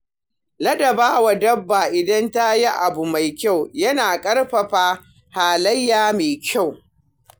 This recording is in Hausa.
Ladaba wa dabba idan tayi abu mai kyau yana ƙarfafa halayya mai kyau.